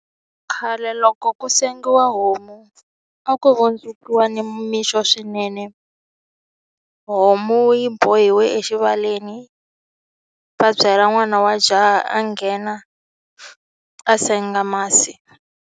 Khale loko ku sengiwa homu a ku vundzukiwa ni mixo swinene homu yi bohiwe exivaleni va byela n'wana wa jaha a nghena a senga masi.